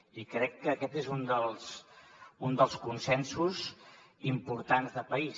i crec que aquest és un dels consensos importants de país